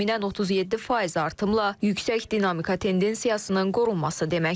Bu da təxminən 37% artımla yüksək dinamika tendensiyasının qorunması deməkdir.